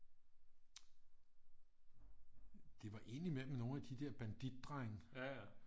Det var ind i mellem nogle af de der banditdrenge